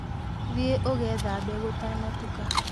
Thiĩ ũgeethambe gũtana tuka